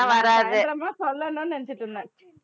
நான் சாய்ந்தரமா சொல்லணும்னு நினைச்சுட்டு இருந்தேன்